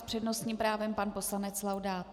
S přednostním právem pan poslanec Laudát.